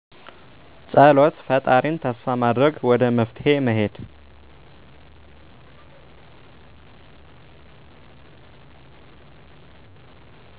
ፀሎት ፈጣሪን ተስፋ ማድረግ ወደ መፍትሔ መሄድ